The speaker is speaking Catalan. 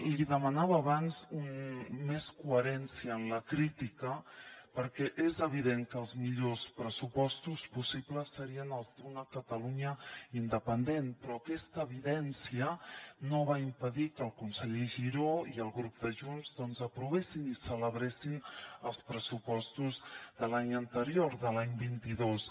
li demanava abans més coherència en la crítica perquè és evident que els millors pressupostos possibles serien els d’una catalunya independent però aquesta evidència no va impedir que el conseller giró i el grup de junts doncs aprovessin i celebressin els pressupostos de l’any anterior de l’any vint dos